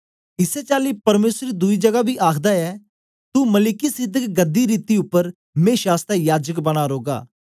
इसै चाली परमेसर दुई जगा बी आखदा ऐ तू मलिकिसिदक गद्धी रीति उपर मेशा आसतै याजक बनां रौगा